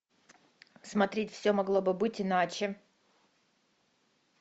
смотреть все могло бы быть иначе